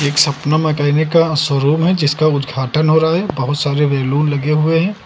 सपना मैकेनिक का शोरूम है जिसका उद्घाटन हो रहा है बहुत सारे बैलून लगे हुए हैं।